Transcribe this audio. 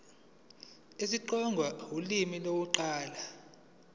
isitsonga ulimi lokuqala